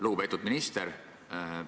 Lugupeetud minister!